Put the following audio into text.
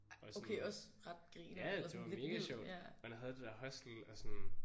Og sådan ja det var mega sjovt han havde det der hostel og sådan